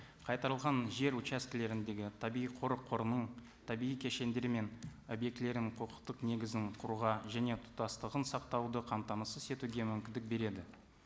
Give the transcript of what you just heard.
қайтарылған жер участкілеріндегі табиғи қорық қорының табиғи кешендер мен объектілерінің құқықтық негізін құруға және тұтастығын сақтауды қамтамасыз етуге мүмкіндік береді